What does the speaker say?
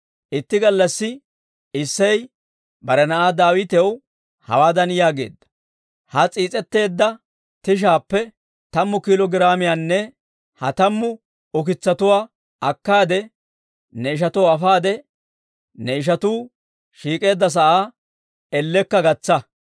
Itti gallassi Isseyi bare na'aa Daawitaw hawaadan yaageedda; «Ha s'iis'etteedda tishaappe tammu kiilo giraamiyaanne ha tammu ukitsatuwaa akkaade, ne ishatoo afaade ne ishatuu shiik'eedda sa'aa ellekka gatsa.